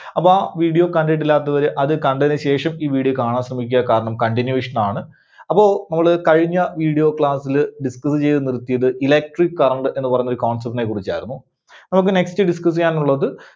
അപ്പോ ആ video കണ്ടിട്ടില്ലാത്തവര് അത് കണ്ടതിന് ശേഷം ഈ video കാണാൻ ശ്രമിക്കുക. കാരണം continuation ആണ്. അപ്പോ നമ്മള് കഴിഞ്ഞ video class ല് describe ചെയ്ത് നിർത്തിയത് Electric Current എന്ന് പറഞ്ഞ ഒരു concept നെ കുറിച്ചായിരുന്നു. അപ്പോ നമുക്ക് next discuss ചെയ്യാനുള്ളത്